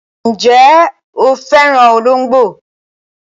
Ǹjẹ́ o fẹ́ràn olóńgbò?